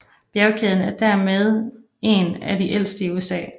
Bjergkæden er dermeden af de ældste i USA